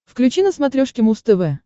включи на смотрешке муз тв